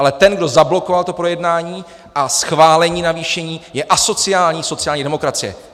Ale ten, kdo zablokoval to projednání a schválení navýšení, je asociální sociální demokracie.